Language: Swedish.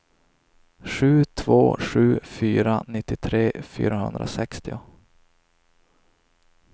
sju två sju fyra nittiotre fyrahundrasextio